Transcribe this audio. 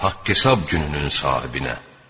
Haqq hesab gününün sahibinə.